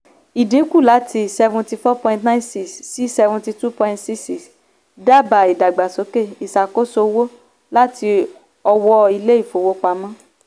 ìdínkù láti seventy four point nine six percent sí seventy two point six six percent dábàá ìdàgbàsókè ìṣàkóso owó láti ọwọ́ ilé-ìfowópamọ́.